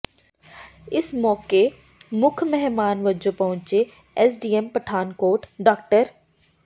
ਇਸ ਮੌਕੇ ਮੁੱਖ ਮਹਿਮਾਨ ਵਜੋਂ ਪਹੁੰਚੇ ਐਸਡੀਐਮ ਪਠਾਨਕੋਟ ਡਾ